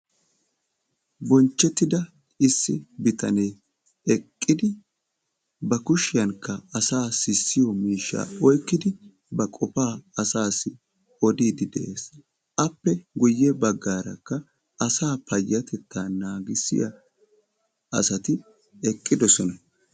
Bonchchettida issi bitanee eqqidi ba kushiyankka asaa sissiyo miishsha oyqqidi ba qofaa asassi odiiddi de''es. appe guyye baggaarakka asa payyatetta naagissiya asati eqqidoosona.